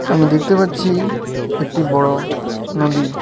আমি দেখতে পাচ্ছি একটি বড় নদী।